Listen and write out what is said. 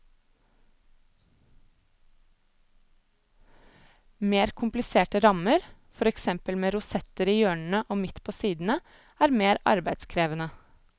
Mer kompliserte rammer, for eksempel med rosetter i hjørnene og midt på sidene, er mer arbeidskrevende.